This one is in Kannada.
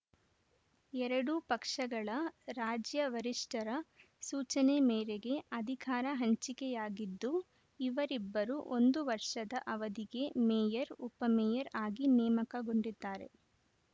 ಎರಡೂ ಪಕ್ಷಗಳ ರಾಜ್ಯ ವರಿಷ್ಠರ ಸೂಚನೆ ಮೇರೆಗೆ ಅಧಿಕಾರ ಹಂಚಿಕೆಯಾಗಿದ್ದು ಇವರಿಬ್ಬರು ಒಂದು ವರ್ಷದ ಅವಧಿಗೆ ಮೇಯರ್‌ ಉಪಮೇಯರ್‌ ಆಗಿ ನೇಮಕಗೊಂಡಿದ್ದಾರೆ